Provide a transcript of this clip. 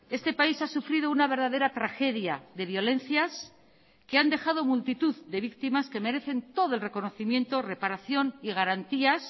este país ha sufrido una verdadera tragedia de violencias que han dejado multitud de víctimas que merecen todo el reconocimiento reparación y garantías